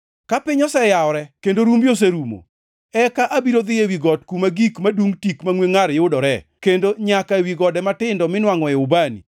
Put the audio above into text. Ka piny oseyawore kendo rumbi oserumo, eka abiro dhi ewi got kuma gik madungʼ tik mangʼwe ngʼar yudoree kendo nyaka ewi gode matindo miwangʼoe ubani.